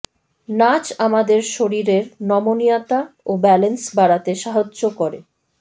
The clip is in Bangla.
নাচ আমাদের শরীরের নমনীয়তা ও ব্যালান্স বাড়াতে সাহায্য করে